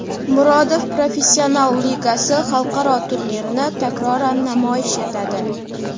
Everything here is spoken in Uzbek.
"Murodov Professional Ligasi" xalqaro turnirini takroran namoyish etadi.